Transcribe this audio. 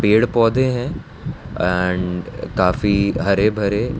पेड़ पौधे हैं एंड काफी हरे भरे --